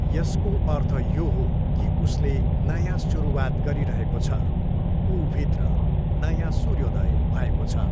यसको अर्थ यो हो कि उसले नयाँ सुरुवात गरिरहेको छ, ऊभित्र नयाँ सूर्योदय भएको छ।